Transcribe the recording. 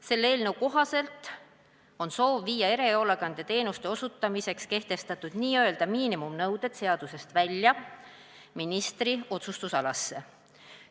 Selle eelnõu kohaselt on soov viia erihoolekandeteenuste osutamiseks kehtestatud n-ö miinimumnõuded seadusest välja ministri otsustusalasse.